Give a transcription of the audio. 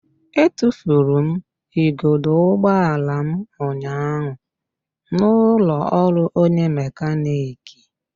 Etufuru m igodo ụgbọala m ụnyaahụ n'ụlọ ọrụ onye mekaniki